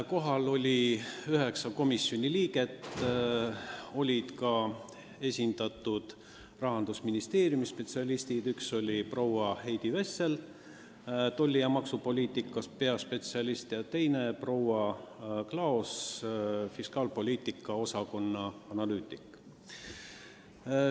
Kohal oli üheksa komisjoni liiget ning esindatud olid ka Rahandusministeeriumi spetsialistid: üks oli Heidi Vessel, tolli- ja aktsiisipoliitika osakonna peaspetsialist, ja teine Kadri Klaos, fiskaalpoliitika osakonna analüütik.